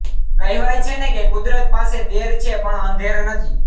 કહેવાય છે ને કે કુદરત પાસે દેર છે પણ અંધેર નથી